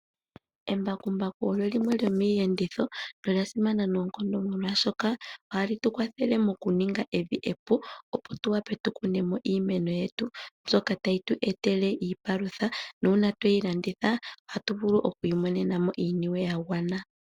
Embakumbaku olyo limwe lyomiiyenditho nolya simana noonkondo molwaashoka ohali tu kwathele mokuninga evi epu opo tu wape tu kune mo iimeno yetu mbyoka tayi tu etele iipalutha nuuna tweyi landitha ohatu vulu oku imonena mo iiniwe ya gwana.